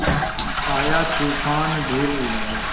आया तूफ़ान धूल उड़ाए